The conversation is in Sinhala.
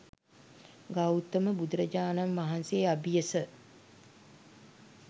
ගෞතම බුදුරජාණන් වහන්සේ අබියස